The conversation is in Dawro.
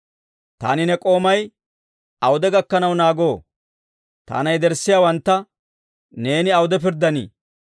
Taani ne k'oomay awude gakkanaw naagoo? Taana yederssiyaawantta neeni awude pirddanii?